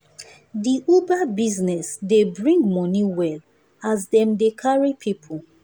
the uber bussiness dey bring money well as dem dey carry people